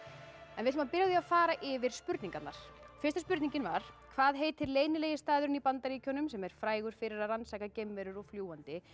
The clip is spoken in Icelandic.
við ætlum að byrja á því að fara yfir spurningarnar fyrsta spurningin var hvað heitir leynilegi staðurinn í Bandaríkjunum sem er frægur fyrir að rannsaka geimverur og fljúgandi